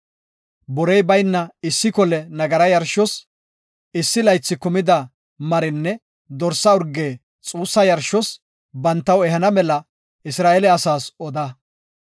Borey bayna issi kole nagara yarshos, issi laythi kumida marinne dorsa urge xuussa yarshos bantaw ehana mela Isra7eele asaas oda.